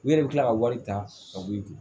U yɛrɛ bɛ tila ka wari ta ka bɔ i kun